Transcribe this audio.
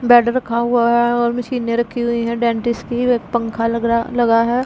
Bed रखा हुआ है और मशीनें रखी हुई हैं डेंटिस्ट की एक पंखा लगरा लगा हैं।